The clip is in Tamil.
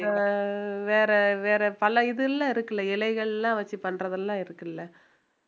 அஹ் வேற வேற பல இதெல்லாம் இருக்குல்ல இலைகள் எல்லாம் வச்சு பண்றதெல்லாம் இருக்குல்ல